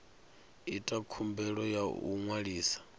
ita khumbelo ya u ṅwalisa